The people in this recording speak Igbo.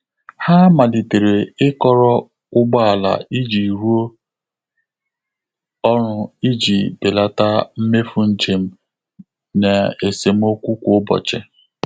Há màlị́tèrè ị́kọ́rọ́ ụ́gbọ́ álà ìjí rụ́ọ́ ọ́rụ́ ìjí bèlàtà mméfù njém nà ésémókwú kwá ụ́bọ̀chị̀.